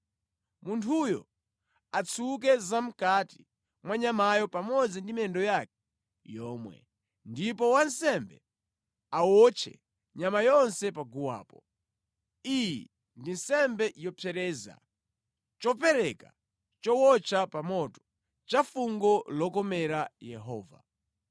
Munthuyo atsuke zamʼkati mwa nyamayo pamodzi ndi miyendo yake yomwe, ndipo wansembe awotche nyama yonse paguwapo. Iyi ndi nsembe yopsereza, chopereka chowotcha pa moto, cha fungo lokomera Yehova.